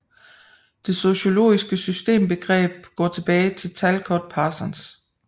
Det sociologiske systembegreb går tilbage til Talcott Parsons